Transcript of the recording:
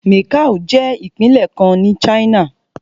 Macao jẹ́ ìpínlẹ̀ kan ní China.